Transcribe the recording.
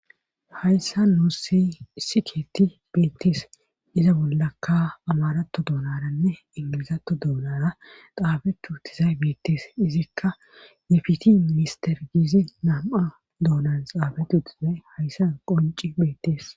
Hayssa nuu si isikeeti beettis iza bollakka amarato doonaranne ingilizatto doonara qaabetu utizay beettes izikka defiti minister giizi nam7a doonan xaabet utizay hayssan qonci beettees